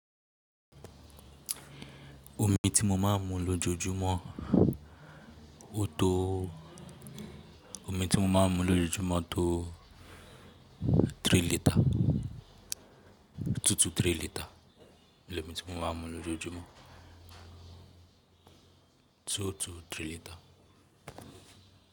Omi tí mo máa ń mu lójoojúmọ́ ó tó, omi tí mo máa ń mu lójoojúmọ́ tó three litre, two to three litre ni omi tí mo máa ń mu lójoojúmọ́, two to three litre.